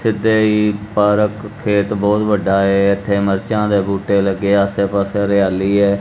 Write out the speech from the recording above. ਤੇ ਪਾਰਕ ਖੇਤ ਬਹੁਤ ਵੱਡਾ ਹ ਇੱਥੇ ਮਰਚਾ ਦੇ ਬੂਟੇ ਲੱਗੇ ਆਸੇ ਪਾਸੇ ਹਰਿਆਲੀ ਹ।